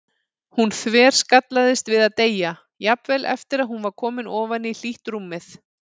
Hún þverskallaðist við að deyja, jafnvel eftir að hún var komin ofan í hlýtt rúmið.